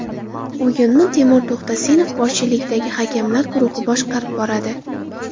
O‘yinni Temur To‘xtasinov boshchiligidagi hakamlar guruhi boshqarib boradi.